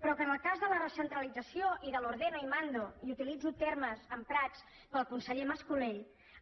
però que en el cas de la recentralització de l’ ordeno y mando i utilitzo termes emprats pel conseller mas colell